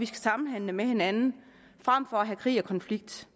samhandle med hinanden frem for at have krig og konflikt